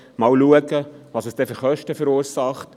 schauen wir einmal, welche Kosten es verursacht.